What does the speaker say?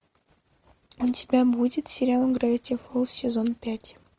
у тебя будет сериал гравити фолз сезон пять